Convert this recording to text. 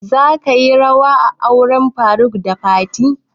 Za ka yi rawa a auren faruk da fatima?